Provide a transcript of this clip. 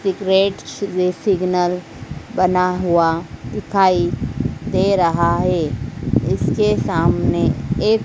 एक red signal बना हुआ दिखाई दे रहा है इसके सामने एक--